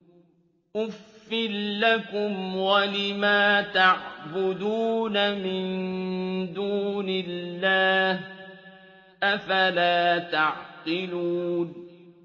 أُفٍّ لَّكُمْ وَلِمَا تَعْبُدُونَ مِن دُونِ اللَّهِ ۖ أَفَلَا تَعْقِلُونَ